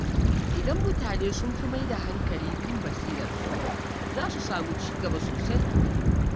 Idan mutane sun fi mai da hankali kan basirarsu, za su samu ci gaba sosai.